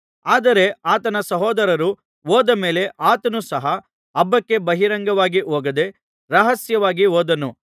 ಆದರೆ ಆತನ ಸಹೋದರರು ಹೋದ ಮೇಲೆ ಆತನು ಸಹ ಹಬ್ಬಕ್ಕೆ ಬಹಿರಂಗವಾಗಿ ಹೋಗದೆ ರಹಸ್ಯವಾಗಿ ಹೋದನು